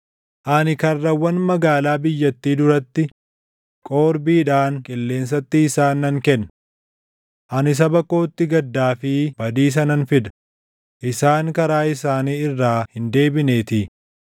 Ani karrawwan magaalaa biyyattii duratti, qorbiidhaan qilleensatti isaan nan kenna. Ani saba kootti gaddaa fi badiisa nan fida; isaan karaa isaanii irraa hin deebineetii.